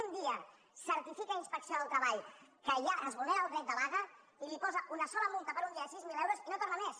un dia certifica inspecció del treball que allà es vulnera el dret de vaga i li posa una sola multa per un dia de sis mil euros i no hi torna més